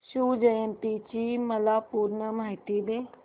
शिवजयंती ची मला पूर्ण माहिती दे